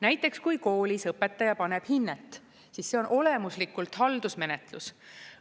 Näiteks kui koolis õpetaja paneb hinnet, siis see on olemuslikult haldusmenetlus.